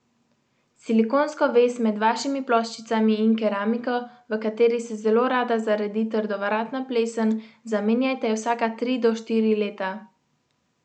Silikonsko vez med vašimi ploščicami in keramiko, v kateri se zelo rada zaredi trdovratna plesen, zamenjajte vsaka tri do štiri leta.